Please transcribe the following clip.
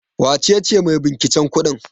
Wace ce maibinciken kudin?